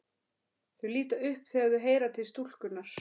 Þau líta upp þegar þau heyra til stúlkunnar.